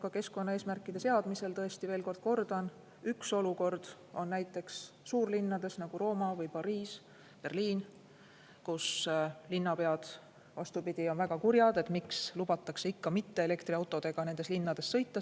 Ka keskkonnaeesmärkide seadmise puhul, tõesti, veel kord kordan, üks olukord on näiteks suurlinnades, nagu Rooma või Pariis või Berliin, kus linnapead on väga kurjad, miks lubatakse nendes linnades ikka veel ka mitteelektriautodega sõita.